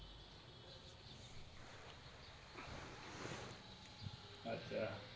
અચ્છા